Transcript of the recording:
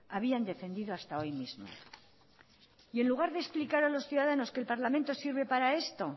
habían defendido hasta hoy mismo y en lugar de explicar a los ciudadanos que el parlamento sirve para esto